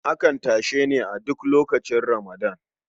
Akan yi tashe ne a duk lokacin Ramadan.